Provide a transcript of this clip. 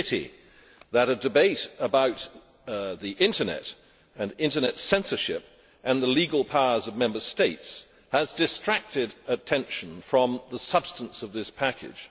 is a pity that a debate about the Internet and Internet censorship and the legal powers of Member States has distracted attention from the substance of this package.